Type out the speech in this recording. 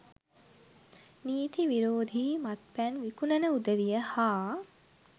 නීති විරෝධී මත්පැන් විකුණන උදවිය හා